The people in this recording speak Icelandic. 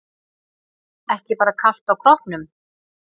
Ekki bara kalt á kroppnum.